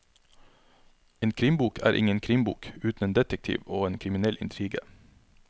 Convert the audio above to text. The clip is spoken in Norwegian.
En krimbok er ingen krimbok uten en detektiv og en kriminell intrige.